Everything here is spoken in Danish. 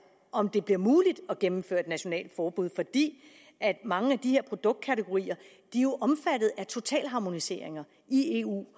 om det bliver muligt at gennemføre et nationalt forbud fordi mange af de her produktkategorier jo er omfattet af totalharmoniseringer i eu